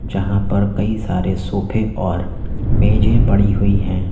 जहां पर कई सारे सोफे और मेजे पड़ी हुई है।